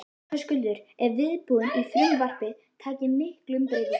Höskuldur, er viðbúið að frumvarpið taki miklum breytingum?